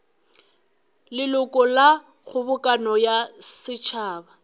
leloko la kgobokano ya setšhaba